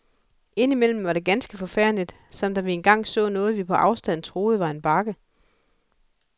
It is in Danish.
Indimellem var det ganske forfærdeligt, som da vi engang så noget, vi på afstand troede var en bakke.